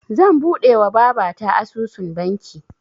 Zan buɗewa babata asusun banki